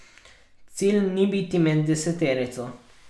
Cilj ni biti med deseterico.